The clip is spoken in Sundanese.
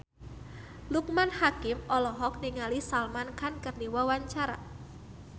Loekman Hakim olohok ningali Salman Khan keur diwawancara